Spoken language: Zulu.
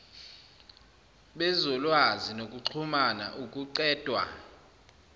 bezolwazi nokuxhumna ukuqedwa